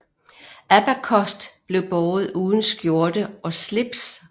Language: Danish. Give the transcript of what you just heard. Abacost blev båret uden skjorte og slips